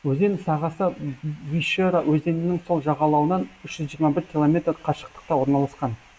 өзен сағасы вишера өзенінің сол жағалауынан үш жиырма бір километр қашықтықта орналасқан